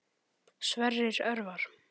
Sverrir Örvar.